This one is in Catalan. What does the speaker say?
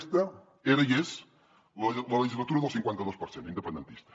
aquesta era i és la legislatura del cinquanta dos per cent independentista